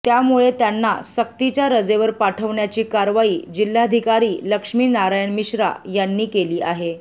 त्यामुळे त्यांना सक्तीच्या रजेवर पाठवण्याची कारवाई जिल्हाधिकारी लक्ष्मी नारायण मिश्रा यांनी केली आहे